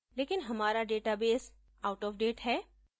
लेकिन हमारा database outofdate है